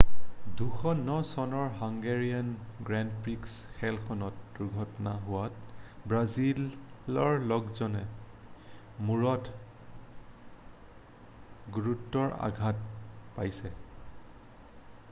2009 চনৰ Hungarian grand prix খেলখনত দুৰ্ঘটনা হোৱাত ব্ৰাজিলৰ লোকজনে মূৰত গুৰুতৰ আঘাত পাইছে